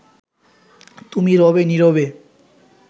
তুমি রবে নীরবে